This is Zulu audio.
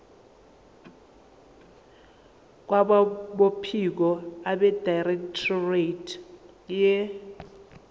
kwabophiko abedirectorate ye